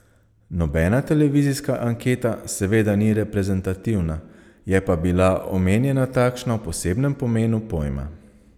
Nobena televizijska anketa seveda ni reprezentativna, je pa bila omenjena takšna v posebnem pomenu pojma.